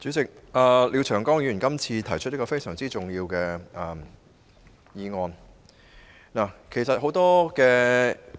主席，廖長江議員今次提出了一項非常重要的議案。